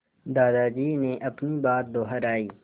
दादाजी ने अपनी बात दोहराई